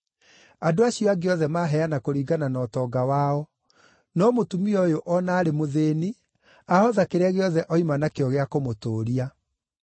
Andũ acio angĩ othe maaheana kũringana na ũtonga wao; no mũtumia ũyũ o na arĩ mũthĩĩni, ahotha kĩrĩa gĩothe oima nakĩo gĩa kũmũtũũria.”